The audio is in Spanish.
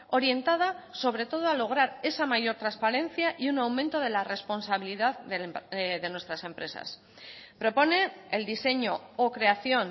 orientada sobre todo a lograr esa mayor transparencia y un aumento de la responsabilidad de nuestras empresas propone el diseño o creación